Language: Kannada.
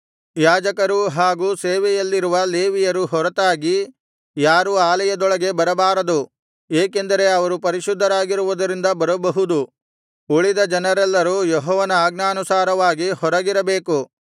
ಯಾಜಕರೂ ಹಾಗು ಸೇವೆಯಲ್ಲಿರುವ ಲೇವಿಯರು ಹೊರತಾಗಿ ಯಾರೂ ಆಲಯದೊಳಗೆ ಬರಬಾರದು ಏಕೆಂದರೆ ಅವರು ಪರಿಶುದ್ಧರಾಗಿರುವುದರಿಂದ ಬರಬಹುದು ಉಳಿದ ಜನರೆಲ್ಲರೂ ಯೆಹೋವನ ಅಜ್ಞಾನುಸಾರವಾಗಿ ಹೊರಗಿರಬೇಕು